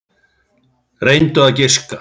Reyndu að giska.